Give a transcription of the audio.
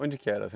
Onde que era?